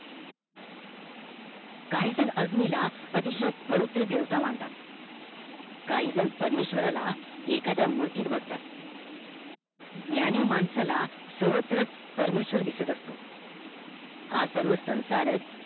काही जण अग्नी ला पवित्र देवता मानतात काहीजण परमेश्व्राराला एखाद्या मूर्तीत बघतात ज्ञानी माणसाला सवर्त्र परमेशवर दिसत असतो हा सर्व संसारच